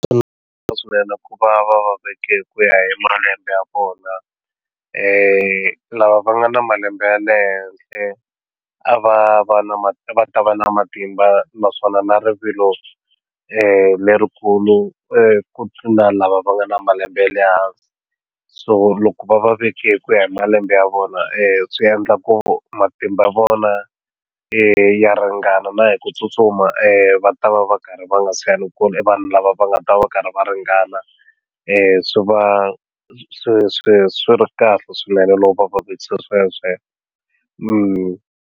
ku va va va veke ku ya hi malembe ya vona lava va nga na malembe ya le henhla a va va na va ta va na matimba naswona na rivilo lerikulu ku tlula lava va nga na malembe ya le hansi so loko va va veke hi ku ya hi malembe ya vona swi endla ku matimba ya vona ya ringana na hi ku tsutsuma va ta va va karhi va nga chavi ku i vanhu lava va nga ta va karhi va ringana swi va swi swi swi ri kahle swinene loko va sweswe.